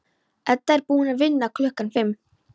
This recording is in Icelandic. Edda er búin að vinna klukkan fimm.